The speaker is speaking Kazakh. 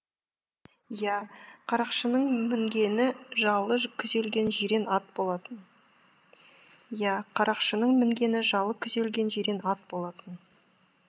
иә қарақшының мінгені жалы күзелген жирен ат болатын иә қарақшының мінгені жалы күзелген жирен ат болатын